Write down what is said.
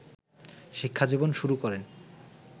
শিক্ষাজীবন শুরু করেন